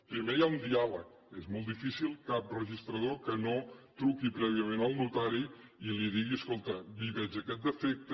primer hi ha un diàleg és molt difícil cap registrador que no truqui prèviament al notari i li digui escolta hi veig aquest defecte